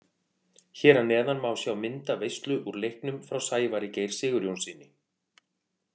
Hér að neðan má sjá myndaveislu úr leiknum frá Sævari Geir Sigurjónssyni.